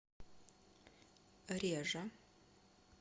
режа